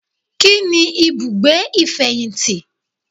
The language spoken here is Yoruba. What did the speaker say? Kíni ibùgbé ìfẹ̀yìntì